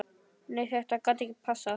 Nei þetta gat ekki passað.